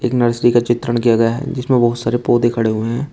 Nursery का चित्रण किया गया है जिसमें बहुत सारे पौधे खड़े हुए हैं।